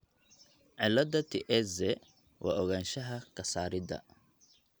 cillada Tietze waa ogaanshaha ka saarida.